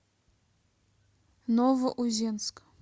новоузенск